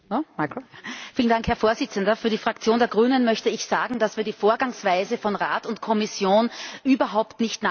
Herr Präsident! Für die Fraktion der Grünen möchte ich sagen, dass wir die Vorgangsweise von Rat und Kommission überhaupt nicht nachvollziehen können.